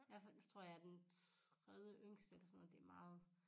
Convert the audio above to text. Ja for ellers tror jeg er den tredjeyngste eller sådan noget det er meget